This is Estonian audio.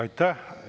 Aitäh!